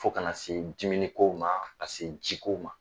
Fo ka na se dumuniko ma ka se jiko ma